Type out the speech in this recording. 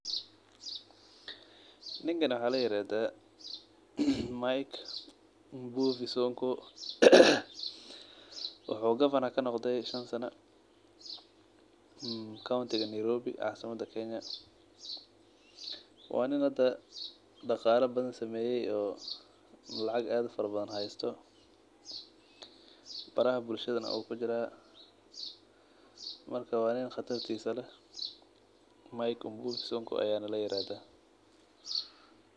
Ninkan waxa la yirahda mike mbuvi sonko, wuxuu governor kanoqde shan sana kawntiga Nairobi caasimada kenya waa nin hada dhaqaala badan sameeyo oo lacag ad ufara badan haysto, baraha bulshadana wuu kujiraa, marka waa nin qatartiisa leh mike mbuvi sonko ayana la yirahda